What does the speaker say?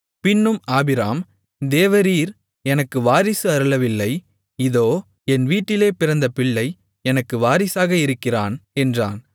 பின்னும் ஆபிராம் தேவரீர் எனக்கு வாரிசு அருளவில்லை இதோ என் வீட்டிலே பிறந்த பிள்ளை எனக்கு வாரிசாக இருக்கிறான் என்றான்